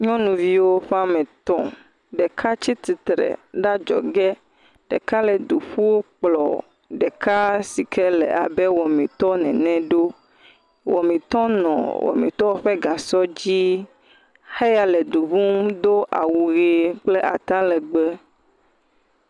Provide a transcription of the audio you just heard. Nyɔnuviwo ƒe me etɔ, ɖeka tsi tsitre ɖe adzɔge. ɖeka le du kplɔ ɖeka sike le abe wɔmitɔ ene ɖo. Wɔmitɔ nɔ wɔmiyɔ ƒe gasɔ dzi. Heya le du ƒum do awu ʋi kple atalegbe.